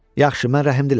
Yaxşı, mən rəhimliyəm.